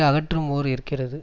அகற்றும் ஓர் இருக்கிறது